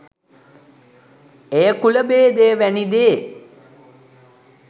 එය කුලභේදය වැනි දේ